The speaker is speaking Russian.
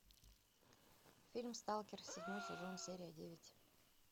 фильм сталкер седьмой сезон серия девять